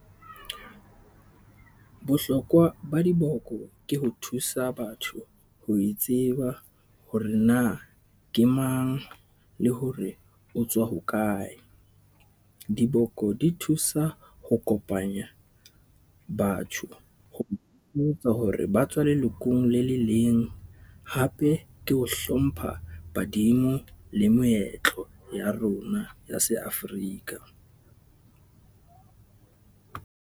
Bohlokwa ba diboko ke ho thusa batho ho itseba hore na ke mang, le hore o tswa hokae. Diboko di thusa ho kopanya batho ho botsa hore ba tswa lelokong le le leng. Hape ke ho hlompha badimo le moetlo ya rona ya se-Africa .